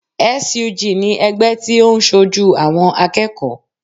SUG ni ẹgbẹ́ tí óun sojú àwọn akẹ́kọ̀ọ́